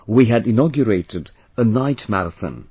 We had inaugurated a Night Marathon